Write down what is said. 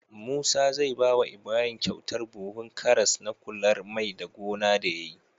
Musa zai bawa Ibrahim kyautar buhun karas na kular mai da gona da yayi